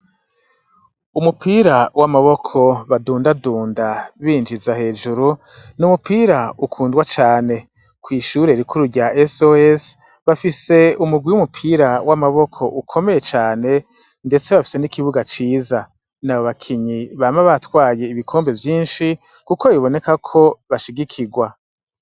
Umupira w' amaboko badundadunda binjiza hejuru, ni umupira ukundwa cane . Kw' ishure rikuru rya SOS, bafise umurwi w'umupira w' amaboko ukomeye cane , ndetse bafise n' ikibuga. Ni abakinyi bama batwaye ibikombe vyinshi , kuko biboneka ko bashigikirwa.